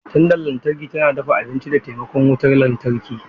Tandan lantarki tana dafa abinci da taimakon wutar lantarki.